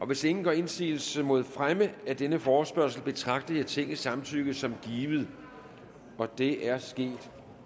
hvis ingen gør indsigelse mod fremme af denne forespørgsel betragter jeg tingets samtykke som givet det er sket